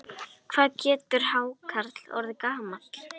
Hvað getur hákarl orðið gamall?